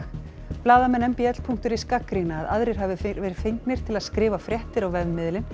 blaðamenn m b l punktur is gagnrýna að aðrir hafi verið fengnir til að skrifa fréttir á vefmiðilinn